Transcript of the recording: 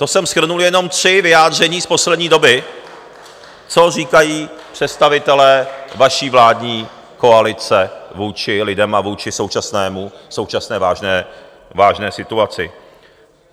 To jsem shrnul jenom tři vyjádření z poslední doby, co říkají představitelé vaší vládní koalice vůči lidem a vůči současné vážné situaci.